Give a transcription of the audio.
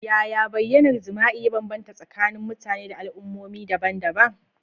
Yaya bayyanar jima'i ya bambanta tsakanin mutane da al'ummomi daban-daban?